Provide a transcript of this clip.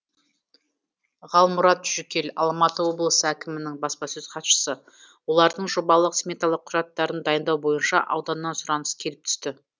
ғалмұрат жүкел алматы облысы әкімінің баспасөз хатшысы олардың жобалық сметалық құжаттарын дайындау бойынша ауданнан сұраныс келіп түсті